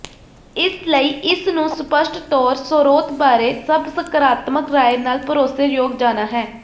ਇਸ ਲਈ ਇਸ ਨੂੰ ਸਪਸ਼ਟ ਤੌਰ ਸਰੋਤ ਬਾਰੇ ਸਭ ਸਕਰਾਤਮਕ ਰਾਇ ਨਾ ਭਰੋਸੇਯੋਗ ਜਾਣਾ ਹੈ